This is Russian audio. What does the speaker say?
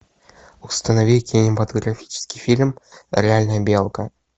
установи кинематографический фильм реальная белка